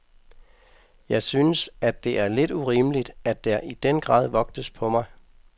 Jeg synes, at det er lidt urimeligt, at der i den grad vogtes på mig.